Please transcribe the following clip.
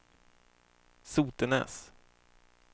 Sotenäs